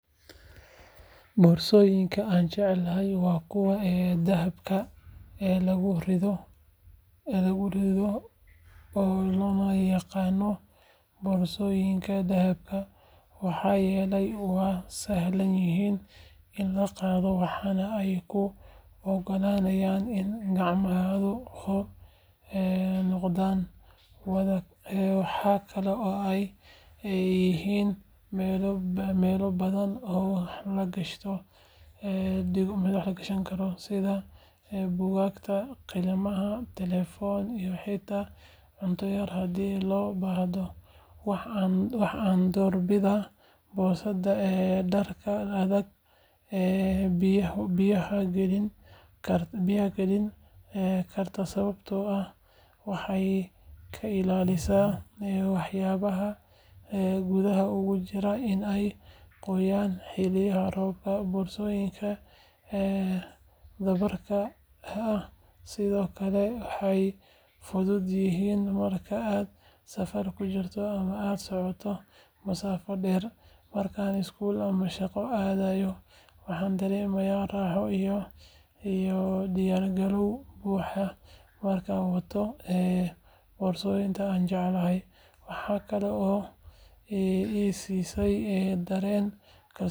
Boorsooyinka aan jeclahay waa kuwa dhabarka lagu rito oo loo yaqaan boorsooyinka dhabarka maxaa yeelay waa sahlan yihiin in la qaado waxaana ay kuu oggolaanayaan in gacmahaagu xor noqdaan. Waxaa kaloo ay leeyihiin meelo badan oo wax lagu kala dhigo sida buugaag, qalimaan, telefoon iyo xitaa cunto yar haddii loo baahdo. Waxa aan door bidaa boorsada dharka adag ee biyaha celin karta sababtoo ah waxay ka ilaalisaa waxyaabaha gudaha uga jira in ay qoyaan xilliyada roobka. Boorsooyinka dhabarka ah sidoo kale way fudud yihiin marka aad safar ku jirto ama aad socoto masaafo dheer. Marka aan iskuul ama shaqo aadayo, waxaan dareemaa raaxo iyo diyaargarow buuxa markaan wato boorsadayda aan jeclahay. Waxaa kaloo ay i siisaa dareen kalsooni ah maadaama ay si fiican u ekaato una shaqeyso.